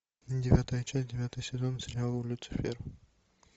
девятая часть девятый сезон сериала люцифер